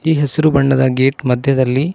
ಈ ಹಸಿರು ಬಣ್ಣದ ಗೇಟ್ ಮಧ್ಯದಲ್ಲಿ--